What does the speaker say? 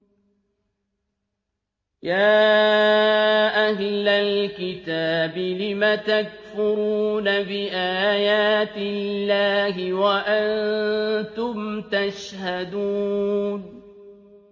يَا أَهْلَ الْكِتَابِ لِمَ تَكْفُرُونَ بِآيَاتِ اللَّهِ وَأَنتُمْ تَشْهَدُونَ